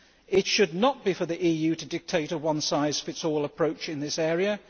It should not be for the EU to dictate a one size fits all' approach in this area.